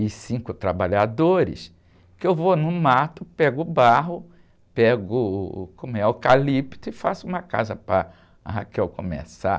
e cinco trabalhadores, que eu vou no mato, pego o barro, pego uh, como é? Eucalipto e faço uma casa para a começar.